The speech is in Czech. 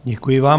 Děkuji vám.